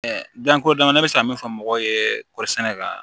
danko damadɔ bɛ se ka min fɔ mɔgɔw ye kɔɔri sɛnɛ la